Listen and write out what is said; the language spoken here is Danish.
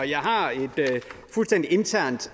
jeg har et fuldstændig internt